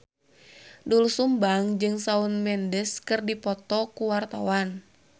Doel Sumbang jeung Shawn Mendes keur dipoto ku wartawan